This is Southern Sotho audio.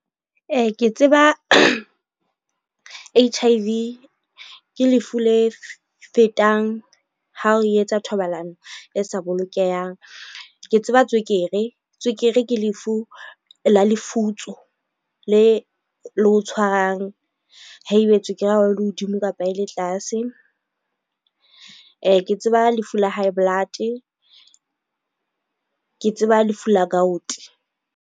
Ee, ke tseba H_I_V ke lefu le fetang ha o etsa thobalano e sa bolokehang. Ke tseba tswekere, tswekere ke lefu la lefutso, le le o tshwarang haebe tswekere ya hao e le hodimo kapa e le tlase. Ke tseba lefu la high blood, ke tseba lefu la .